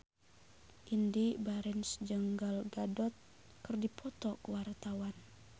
Indy Barens jeung Gal Gadot keur dipoto ku wartawan